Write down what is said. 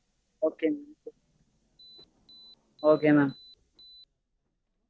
okay ங்க okay mam